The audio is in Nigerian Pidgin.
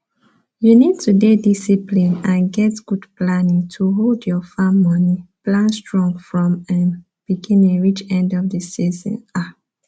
you need to dey discipline and get good planning to hold your farm moni plan strong from um beginning reach end of the season um